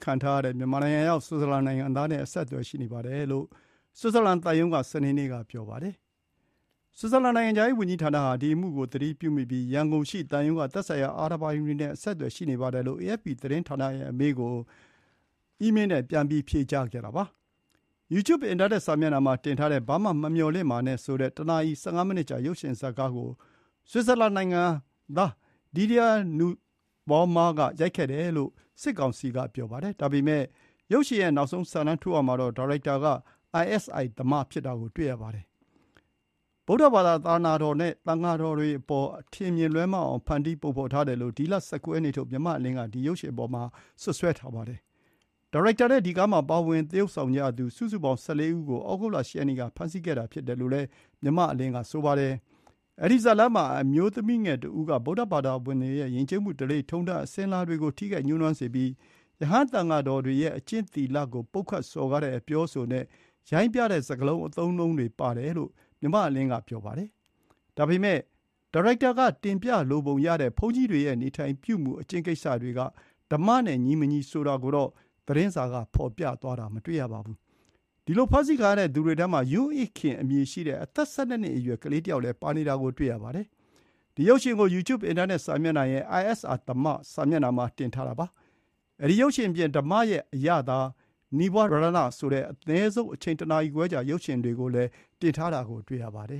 ခံထားရတဲ့ မြန်မာနိုင်ငံရောက် ဆွစ်ဇာလန် နိုင်ငံသားနဲ့ အဆင်အသွယ်ရှိနေပါတယ်လို့ ဆွစ်ဇာလန်သံရုံးက စနေနေ့က ပြောပါတယ်။ ဆွစ်ဇာလန်နိုင်ငံခြားရေးဝန်ကြီးဌာနဟာ ဒီအမှုကိုသတိပြုမိပြီး ရန်ကုန်ရှိသံရုံးက သက်ဆိုင်ရာအာဏာပိုင်တွေနဲ့ အဆက်အသွယ်ရှိနေပါတယ်လို့ အေအက်ဖ်ပီသတင်းဌာနရဲ့အမေးကို အီးမေးနဲ့ဖြေကြားခဲ့တာပါ။ YouTube အင်တာနက်စာမျက်နှာမှာတင်ထားတဲ့ “ဘာမှ မမျှော်လင့်ပါနဲ့” ဆိုတဲ့ ၁ နာရီ ၁၅ မိနစ်ကြာ ရုပ်ရှင်ဇာတ်ကားကို ဆွစ်ဇာလန်နိုင်ငံသား Didier Nusbaumer က ရိုက်ကူးခဲ့တယ်လို့ စစ်ကောင်စီက ပြောပါတယ်။ ဒါပေမဲ့ ရုပ်ရှင် ရဲ့နောက်ဆုံး စာတန်းထိုးရာမှာတော့ ဒါရိုက်တာက isi Dhamma ဖြစ်တာကို တွေ့ရပါတယ်။ ဗုဒ္ဓဘာသာသာသနာတော်နဲ့ သံဃာတော်တွေအပေါ် အထင်မြင်လွဲမှားအောင် ဖန်တီးပုံဖော်ထားတယ်လို့ ဒီလ ၁၉ ရက်နေ့ထုတ် မြန်မာ့အလင်းက ဒီ ရုပ်ရှင် အပေါ် စွပ်စွဲထားပါတယ်။ ဒါရိုက်တာနဲ့ ဒီကားမှာ ပါဝင်သရုပ်ဆောင်ကြသူ စုစုပေါင်း ၁၄ ဦးကို သြဂုတ်လ ၈ ရက်နေ့က ဖမ်းဆီးခဲ့တာဖြစ်တယ်လို့လည်း မြန်မာ့အလင်းက ဆိုပါတယ်။ အဲဒီဇာတ်လမ်းမှာ အမျိုးသမီးငယ်တဦးက ဗုဒ္ဓဘာသာဝင်တွေရဲ့ ယဥ်ကျေးမှု ဓလေ့ထုံးတမ်းအစဥ်အလာတွေကို ထိခိုက် ညှိုးနွမ်းစေပြီး ရဟန်းသံဃာတော်တွေရဲ့ အကျင့်သီလကို ပုတ်ခတ်စော်ကားတဲ့ အပြောအဆိုနဲ့ ရိုင်းပျတဲ့စကားလုံး၊ အသုံးအနှုန်းတွေပါတယ်လို့ မြန်မာ့အလင်းက ဆိုပါတယ်။ ဒါပေမဲ့ ဒါရိုက်တာကတင်ပြလိုပုံရတဲ့ ဘုန်းကြီးတွေရဲ့ နေထိုင်ပြုမူ၊ အကျင့်ကိစ္စတွေက ဓမ္မနဲ့ ညီမညီဆိုတာကိုတော့ သတင်းစာက ဖော်ပြသွားတာ မတွေ့ရပါဘူး။ ဒီလို ဖမ်းဆီးခံရတဲ့သူတွေထဲမှာ ယွန်းအိခင်အမည်ရှိတဲ့ အသက် ၁၂ နှစ် အရွယ် ကလေးတယောက်လည်း ပါဝင်တာကို တွေ့ရပါတယ်။ ဒီ ရုပ်ရှင်ကို Youtube အင်တာနက်စာမျက်နှာရဲ့ isi Dhamma စာမျက်နှာမှာ တင်ထားတာပါ။ အဲဒီ ရုပ်ရှင်အပြင် ဓမ္မရဲ့အရသာ၊ နီဝရဏဆိုတဲ့ အနည်းဆုံး အချိန် ၁ နာရီခွဲကြာ ရုပ်ရှင်တွေကိုလည်း တင်ထားတာ တွေ့ရပါတယ